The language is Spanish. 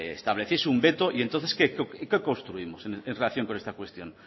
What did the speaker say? estableciese un veto y entonces qué construimos en relación a esta cuestión